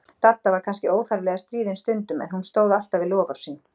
Dadda var kannski óþarflega stríðin stundum, en hún stóð alltaf við loforð sín.